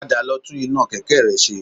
Padà lọ tún iná kẹ̀kẹ́ rẹ ṣe